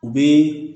U bɛ